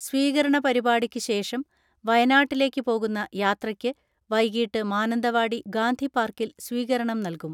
സ്വീകരണ പരിപാടിക്ക് ശേഷം വയനാട്ടിലേക്ക് പോകുന്ന യാത്രയ്ക്ക് വൈകീട്ട് മാനന്തവാടി ഗാന്ധിപാർക്കിൽ സ്വീകരണം നൽകും.